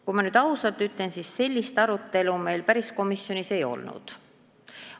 Kui ma nüüd ausalt ütlen, siis sellist arutelu meil komisjonis ei olnud.